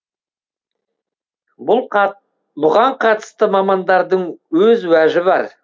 бұған қатысты мамандардың өз уәжі бар